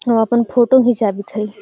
उ अपन फोटो घिचावित हई|